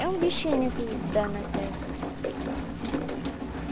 É um bichinho que dá na terra.